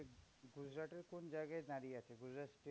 গুজরাটের কোন জায়গায় দাঁড়িয়ে আছে? গুজরাট